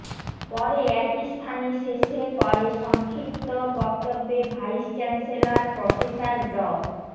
পরে একই স্থানে শেষে করে সংক্ষিপ্ত বক্তব্যে ভাইস চ্যান্সেলর প্রফেসর ড